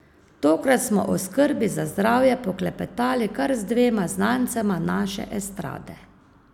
Tokrat smo o skrbi za zdravje poklepetali kar z dvema znancema naše estrade.